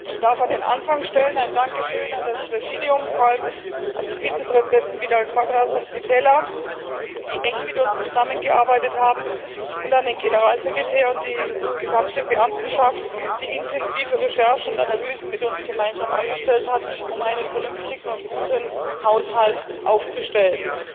Ich darf an den Anfang stellen ein Dankeschön an das Präsidium, vor allem an die Vizepräsidenten Vidal Quadras und Pittella, die eng mit uns zusammengearbeitet haben, und an den Generalsekretär und die gesamte Beamtenschaft, die intensive Recherchen und Analysen mit uns gemeinsam angestellt hat, um einen vernünftigen und guten Haushalt aufzustellen.